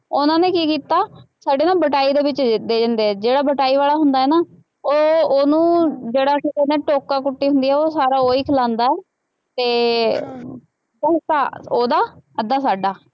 ਉਹਨਾ ਨੇ ਕੀ ਕੀਤਾ, ਸਾਡੇ ਨਾਲ ਵਟਾਈ ਦੇ ਵਿੱਚ ਦਿੱਤੇ ਜਾਂਦੇ ਹੈ, ਜਿਹੜਾ ਵਟਾਈ ਵਾਲਾ ਹੁੰਦਾ ਨਾ, ਉਹ ਉਹਨੂੰ ਜਿਹੜਾ ਕੀ ਕਹਿੰਦੇ ਹੈ ਟੋਕਾ ਕੁੱਟੀ ਹੁੰਦੀ ਹੈ ਉਹ ਸਾਰਾ ਉਹੀ ਖਿ਼ਲਾਉਂਦਾ ਅਤੇ ਅੱਧਾ ਹਿੱਸਾ ਉਹਦਾ, ਅੱਧਾ ਸਾਡਾ,